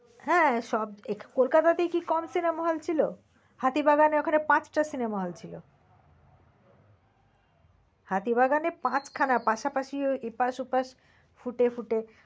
হ্যাঁ সব কলকাতাতেই কি কম cinema hall ছিল? হাতি বাগানের ওখানে পাঁচটা cinema hall ছিল। হাতি বাগানে পাঁচ খানা পাশাপাশি এপাশ ওপাশ foot এ foot এ